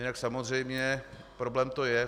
Jinak samozřejmě problém to je.